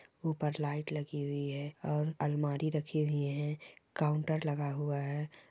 उपर लाइट लगी हुई है और अलमारी रखी हुई है काउंटर लगा हुआ है।